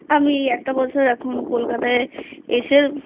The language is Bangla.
আমি একটা বছর এখন কলকাতায় এসে